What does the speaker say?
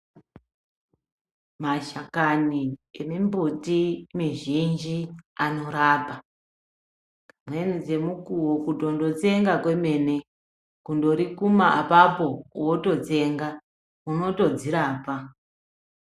Mashakani emimbuti mizhinji anorapa. Dzimweni dzemukuwo kutondotsenga kwemene kundorikuma apapo wototsenga unotodzirapa.